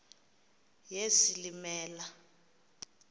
yesilimela